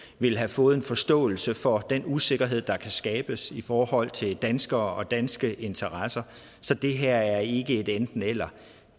ville have fået en forståelse for den usikkerhed der kan skabes i forhold til danskere og danske interesser så det her er ikke et enten eller